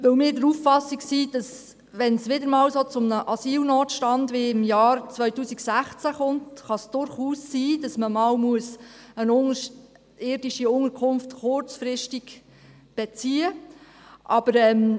Wir sind der Auffassung, dass sollte es wieder einmal zu einem solchen Asylnotstand wie im Jahr 2016 kommen, es durchaus sein kann, dass man einmal kurzfristig eine unterirdische Unterkunft beziehen muss.